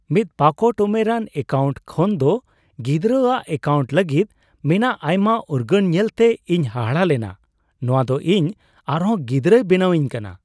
ᱢᱤᱫ ᱯᱟᱠᱚᱴ ᱩᱢᱮᱨᱟᱱ ᱮᱠᱟᱣᱩᱱᱴ ᱠᱷᱚᱱᱫᱚ ᱜᱤᱫᱽᱨᱟᱹ ᱟᱜ ᱮᱠᱟᱣᱩᱱᱴ ᱞᱟᱹᱜᱤᱫ ᱢᱮᱱᱟᱜ ᱟᱭᱢᱟ ᱩᱨᱜᱟᱹᱱ ᱧᱮᱞᱛᱮ ᱤᱧ ᱦᱟᱦᱟᱲᱟ ᱞᱮᱱᱟ ᱾ ᱱᱚᱶᱟᱫᱚ ᱤᱧ ᱟᱨᱦᱚᱸ ᱜᱤᱫᱽᱨᱟᱹᱭ ᱵᱮᱱᱟᱣᱤᱧ ᱠᱟᱱᱟ ᱾